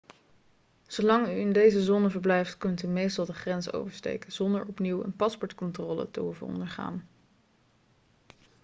zolang u in deze zone verblijft kunt u meestal de grens oversteken zonder opnieuw een paspoortcontrole te hoeven ondergaan